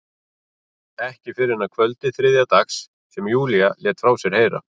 Ekki fyrr en að kvöldi þriðja dags sem Júlía lét frá sér heyra.